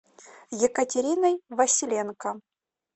екатериной василенко